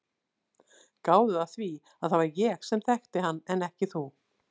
Gáðu að því að það var ég sem þekkti hann en ekki þú.